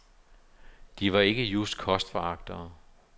De var ikke just kostforagtere.